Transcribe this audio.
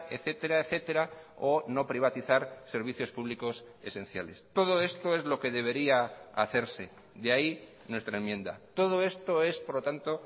etcétera etcétera o no privatizar servicios públicos esenciales todo esto es lo que debería hacerse de ahí nuestra enmienda todo esto es por lo tanto